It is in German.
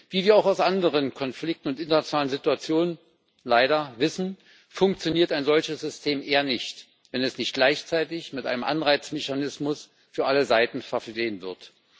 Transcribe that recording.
Wie wir auch aus anderen Konflikten und internationalen Situationen leider wissen, funktioniert ein solches System eher nicht, wenn es nicht gleichzeitig mit einem Anreizmechanismus für alle Seiten versehen wird.